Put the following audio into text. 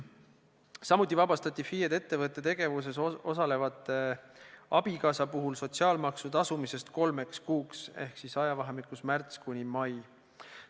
Samuti vabastati FIE-d ettevõtte tegevuses osaleva abikaasa puhul sotsiaalmaksu tasumisest kolmeks kuuks ehk siis ajavahemikus märts–mai.